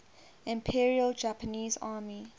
imperial japanese army